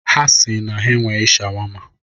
Ha si na ha enweghị shawama